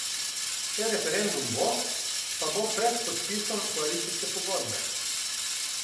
Če referendum bo, pa bo pred podpisom koalicijske pogodbe.